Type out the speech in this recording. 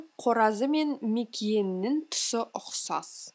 қоразы мен мекиенінің түсі ұқсас